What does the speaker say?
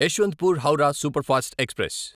Yesvantpur Howrah superfast express